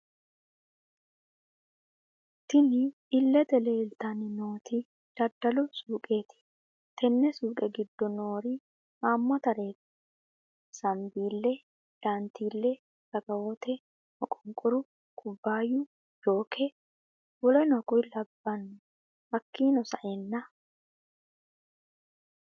Tinni illete leelitanni nooti daddalu suuqeti tenne suuqe giddo noorri haamatareeti sanbiile, daantile, raakawote, maqonqoru, kubaayu, jooke, wkl hakiino sa'eena